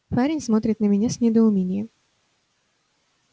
парень смотрит на меня с недоумением